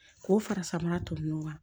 K'o fara samara to ɲɔgɔn kan